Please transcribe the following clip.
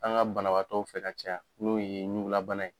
An ka banabaatɔw fɛ ka caya n'o ye ɲugulabana ye.